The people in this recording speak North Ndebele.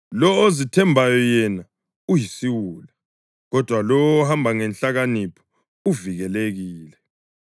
Lowo ozithembayo yena uyisiwula, kodwa lowo ohamba ngenhlakanipho uvikelekile.